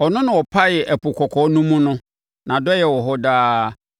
Ɔno na ɔpaee Ɛpo Kɔkɔɔ no mu no, Nʼadɔeɛ wɔ hɔ daa.